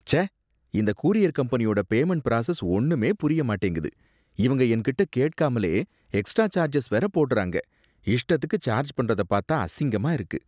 ச்சே! இந்த கூரியர் கம்பெனியோட பேமண்ட் பிராசஸ் ஒன்னுமே புரிய மாட்டேங்குது, இவங்க என்கிட்ட கேக்காமலே எக்ஸ்ட்ரா சார்ஜஸ் வேற போடுறாங்க. இஷ்டத்துக்கு சார்ஜ் பண்றத பாத்தா அசிங்கமா இருக்கு.